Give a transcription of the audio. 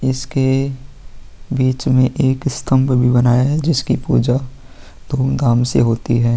इसके बीच में एक स्तंभ भी बनाया है जिसकी पूजा धूमधाम से होती हैं।